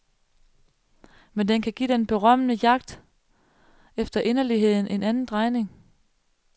Men den kan give den berømmede jagt efter inderligheden en anden drejning.